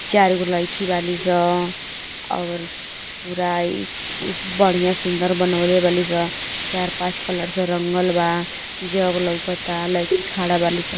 चार गो लईकी बाली स और पूरा ई कुस् बढ़िया सुंदर बनवले बाली स। चार-पांच कलर से रंगल बा। जग लउकता। लईकी खाड़ा बाली स।